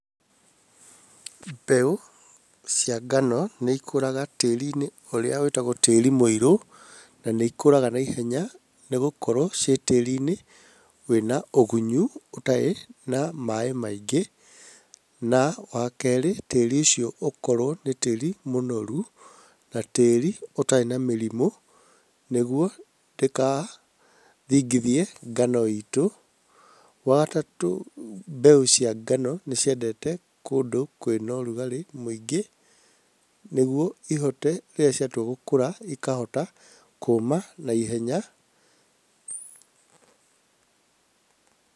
Mbeũ cia ngano nĩ ikũraga tĩri-inĩ ũrĩa wĩtagwo tĩri mũirũ, na nĩ ikũraga naihenya nĩ gũkorwo ciĩ tĩri-inĩ wĩna ũgunyu ũtarĩ na maaĩ maingĩ. Na wa kerĩ tĩri ũcio ũkorwo nĩ tĩri mũnoru na tĩĩri ũtarĩ na mĩrimũ nĩguo ndĩkathingithie ngano itũ. Wa gatatũ mbeũ cia ngano nĩ ciendete kũndũ kwĩnorugarĩ mũingĩ, nĩguo ihote, rĩrĩa ciatua gũkũra ikahota kũũma naihenya Pause.